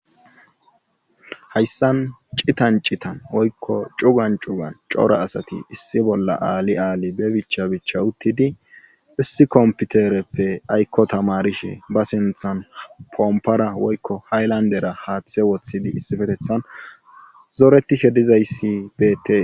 Hayssan citan citan woykko cugan cugan cora asati issi bolla aali aali be bicha bicha uttidi issikomputereppe aykko tamarishe ba sinthan pompora woykko haylandera haaththe woththidi issifetethan zoretishe dizayssi beete.